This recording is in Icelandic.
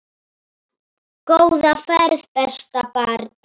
Góða ferð besta barn.